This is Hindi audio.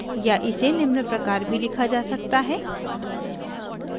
या इसे निम्न प्रकार भी लिखा जा सकता है: